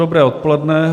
Dobré odpoledne.